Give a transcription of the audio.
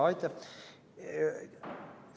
Aitäh!